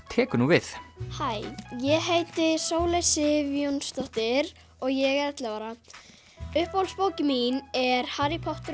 tekur nú við hæ ég heiti Sóley Sif Jónsdóttir og ég er ellefu ára uppáhaldsbókin mín er Harry Potter